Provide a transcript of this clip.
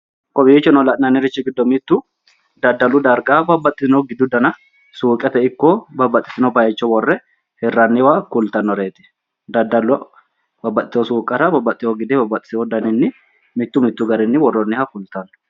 kowiicho noorichi lanannirrichi gido mittu daddalu dariga babbaxitono giidu dana suuqeete iko babbaxino bayichi wore hiraanireeti kulitaanoreeti dadaalo babaaxitino suuqara babbaxino giidu daninni mitu mitu garrini woroonniha kulitano